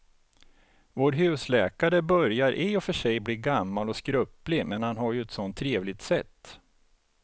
Vår husläkare börjar i och för sig bli gammal och skröplig, men han har ju ett sådant trevligt sätt!